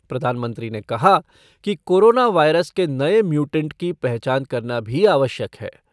प्रधानमंत्री ने कहा कि कोरोना वायरस के नये म्यूटेंट की पहचान करना भी आवश्यक है।